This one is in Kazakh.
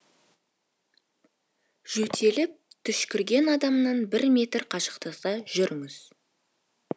жөтеліп түшкірген адамнан бір метр қашықта жүріңіз